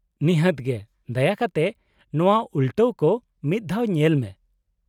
-ᱱᱤᱦᱟᱹᱛ ᱜᱮ, ᱫᱟᱭᱟ ᱠᱟᱛᱮ ᱱᱚᱶᱟ ᱩᱞᱴᱟᱹ ᱠᱚ ᱢᱤᱫ ᱫᱷᱟᱣ ᱧᱮᱞ ᱢᱮ ᱾